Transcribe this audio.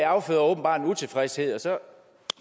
afføder åbenbart en utilfredshed og så